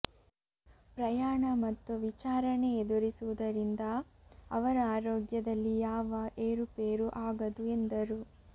ಪ್ರಯಾಣ ಮತ್ತು ವಿಚಾರಣೆ ಎದುರಿಸುವುದರಿಂದ ಅವರ ಆರೋಗ್ಯದಲ್ಲಿ ಯಾವ ಏರುಪೇರು ಆಗದು ಎಂದರು